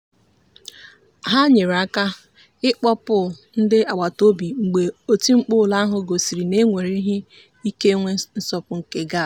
ha nyere aka ịkpọpụ ndị agbataobi mgbe oti mkpu ụlọ ahụ gosiri na e nwere ike inwe nsọpụ nke gas.